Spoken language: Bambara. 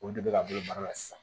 Olu de bɛ ka bolo baara la sisan